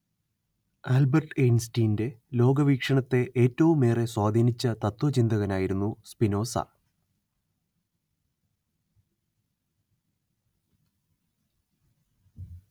Albert ഐൻസ്റ്റൈന്റെ ലോകവീക്ഷണത്തെ ഏറ്റവുമേറെ സ്വാധീനിച്ച തത്ത്വചിന്തകനായിരുന്നു സ്പിനോസ